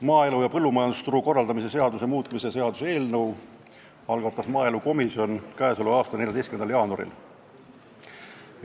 Maaelu ja põllumajandusturu korraldamise seaduse muutmise seaduse eelnõu algatas maaelukomisjon k.a 14. jaanuaril.